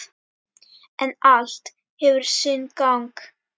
En allt hefur sinn gang.